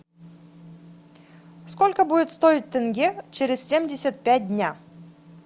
сколько будет стоить тенге через семьдесят пять дня